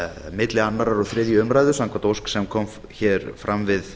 milli annars og þriðju umræðu samkvæmt ósk sem kom fram við